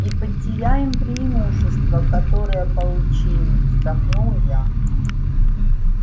и потеряем преимущество которое получили вздохнул я